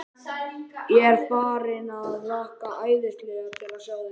Ég er farinn að hlakka æðislega til að sjá þig.